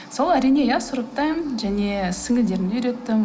сол әрине иә сұрыптаймын және сіңлілерімді үйреттім